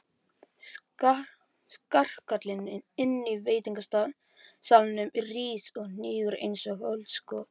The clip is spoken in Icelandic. Skarkalinn inní veitingasalnum rís og hnígur einsog öldusog.